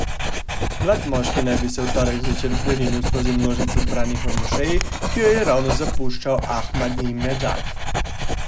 Mlad moški naj bi se v torek zvečer prerinil skozi množico zbranih v mošeji, ki jo je ravno zapuščal Ahmadinedžad.